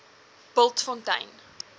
bultfontein